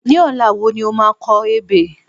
Ní ọ̀la wo ni o máa kọ ebè?